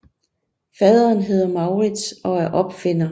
Faderen hedder Maurice og er opfinder